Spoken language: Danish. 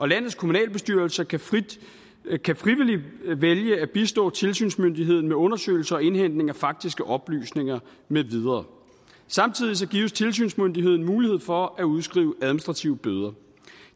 landets kommunalbestyrelser kan frivilligt vælge at bistå tilsynsmyndigheden med undersøgelser og indhentning af faktiske oplysninger med videre samtidig gives tilsynsmyndigheden mulighed for at udskrive administrative bøder